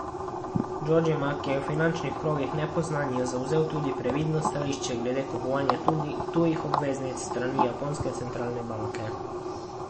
Džodžima, ki je v finančnih krogih nepoznan, je zavzel tudi previdno stališče glede kupovanja tujih obveznic s strani japonske centralne banke.